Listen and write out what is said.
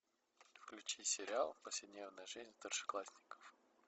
включи сериал повседневная жизнь старшеклассников